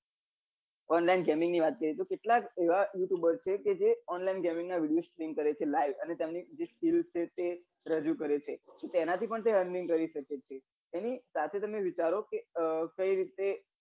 online gaming ની વાત કરીએ કે કેટલાક એવા youtber છે જે online gaming ના video streem કરે છે live અને તેમની streem કેવી રીતે ઉપડશે રજુ કરે છે તેના થી પણ તે earning કરી સકે છે તેની સાથે તમે વિચારો કે કઈ રીતે